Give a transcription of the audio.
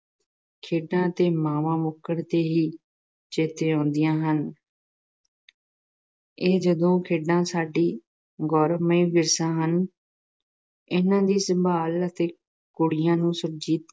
ਖੇਡਾਂ ਅਤੇ ਮਾਂਵਾਂ ਮੁੱਕਣ ਤੇ ਹੀ ਚੇਤੇ ਆਉਂਦੀਆਂ ਹਨ। ਇਹ ਲੋਕ-ਖੇਡਾਂ ਸਾਡਾ ਗੌਰਵਮਈ ਵਿਰਸਾ ਹਨ। ਇਹਨਾਂ ਦੀ ਸੰਭਾਲ ਅਤੇ ਕੁੜੀਆਂ ਨੂੰ ਸੁਰਜੀਤ